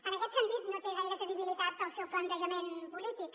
en aquest sentit no té gaire credibilitat el seu plantejament polític